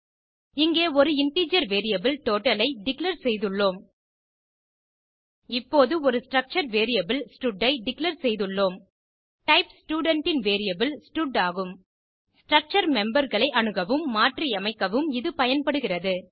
இங்கே ஒரு integer variable total ஐ டிக்ளேர் செய்துள்ளோம் இப்போது ஒரு ஸ்ட்ரக்சர் வேரியபிள் ஸ்டட் ஐ டிக்ளேர் செய்துள்ளோம் டைப் ஸ்டூடென்ட் ன் வேரியபிள் ஸ்டட் ஆகும் ஸ்ட்ரக்சர் memberகளை அணுகவும் மாற்றியமைக்கவும் இது பயன்படுகிறது